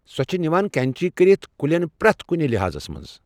سۄ چھِ نِوان کَنٛچی کٔرِتھ کُلٮ۪ن پرٛٮ۪تھ کُنہِ لِحاظَس منٛز